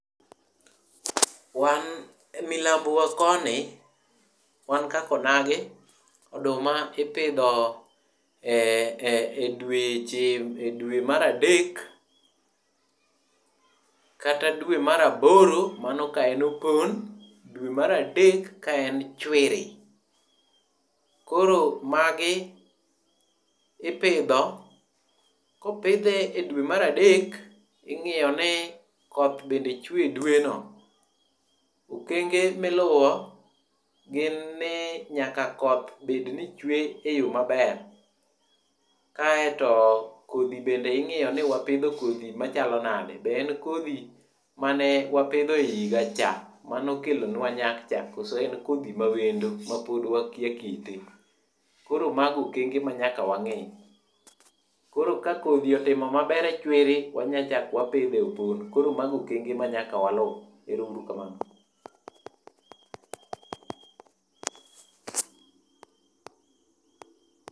Wan milambo wa koni wan kaka onagi oduma ipidho ee dweche e dwe mar adek, kata dwe mar aboro mano ka en opon, dwe mar adek ka en chwiri. Koro magi ipidho kopidhe e dwe mar adek ing'iyo ni koth bende chwe e dwe no. Okenge miluwo gin ni nyaka koth nyaka bed ni chwe e yo maber .Kaeto Kodhi bende ingiyo nio wapidho kodhi machalo nade be en kodhi mane wapidho e higa cha mane okelo nwa nyak cha koso en kodhi mawendo ma pod wakia kite. Koro mago okenge manyaka wang'i. Ka kodhi otimo maber e chwiri wanya chak wapidhe e opon. Koro mago okenge manyaka walu erouru kamano.